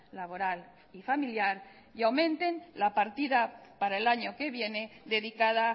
laboral y familiar y aumenten la partida para el año que viene dedicada